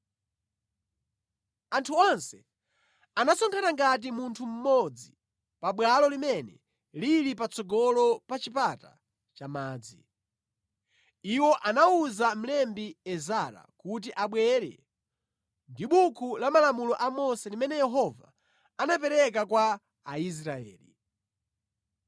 Anthu onse anasonkhana ngati munthu mmodzi pabwalo limene lili patsogolo pa Chipata cha Madzi. Iwo anawuza mlembi Ezara kuti abwere ndi buku la malamulo a Mose limene Yehova anapereka kwa Aisraeli.